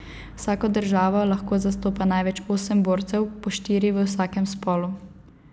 Vsako državo lahko zastopa največ osem borcev, po štiri v vsakem spolu.